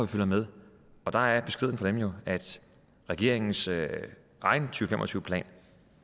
følger med og der er beskeden fra dem jo at regeringens egen to fem og tyve plan